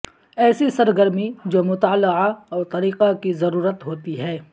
ایسی سرگرمی جو مطالعہ اور طریقہ کی ضرورت ہوتی ہے